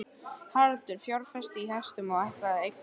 Haraldur fjárfesti í hestum og ætlaði að eignast búgarð.